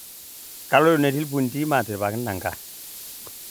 Kaloito netii lmpundi maatiripaki nanga